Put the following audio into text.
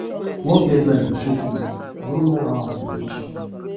work deadline dey choke me i no know how i go finish am